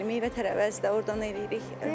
Bəli, meyvə-tərəvəzi də ordan eləyirik.